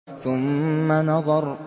ثُمَّ نَظَرَ